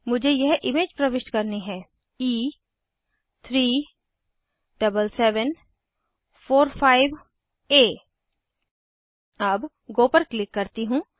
मुझे यह इमेज प्रविष्ट करनी है e37745आ अब गो पर क्लिक करती हूँ